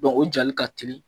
o jali ka teli